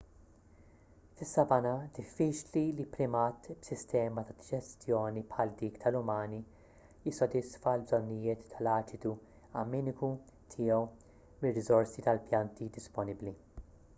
fis-savanna diffiċli li primat b'sistema ta' diġestjoni bħal dik tal-umani jissodisfa l-bżonnijiet tal-aċidu amminiku tiegħu mir-riżorsi tal-pjanti disponibbli